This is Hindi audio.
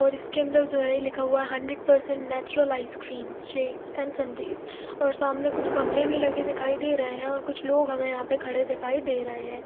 और इसके अन्दर जो है लिखा हुआ hundred percent natural ice cream shakes and sundaes और सामने कुछ गमले भी लगे दिखाई दे रहे है और कुछ लोग हमे यहाँ पे खड़े दिखाई दे रहे है।